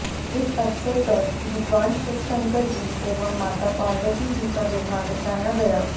इस अवसर पर भगवान शिव शंकर जी एवं माता पार्वती जी का विवाह रचाया गया